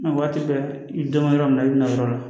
Mɛ waati bɛɛ i bɛ dɔn yɔrɔ min na i bɛna yɔrɔ la